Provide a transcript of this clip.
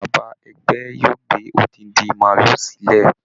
Bàbá ẹgbẹ́ yóò gbé odidi màálù sílẹ̀